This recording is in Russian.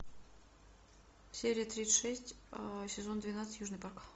серия тридцать шесть сезон двенадцать южный парк